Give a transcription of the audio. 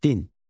Din.